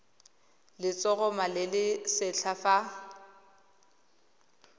letshoroma le le setlha fa